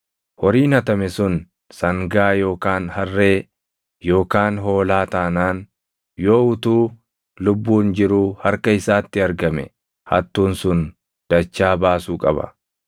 Horiin hatame sun sangaa yookaan harree yookaan hoolaa taanaan yoo utuu lubbuun jiruu harka isaatti argame hattuun sun dachaa baasuu qaba.